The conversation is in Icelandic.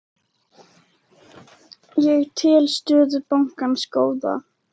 Ég tel stöðu bankans góða.